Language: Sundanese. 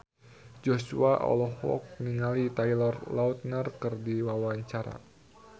Joshua olohok ningali Taylor Lautner keur diwawancara